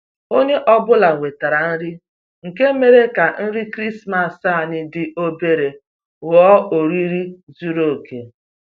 Onye ọ bụla wetara nri, nke mere ka nri krismas anyị dị obere ghọọ oriri zuru oke